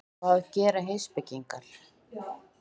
Hvað gera heimspekingar?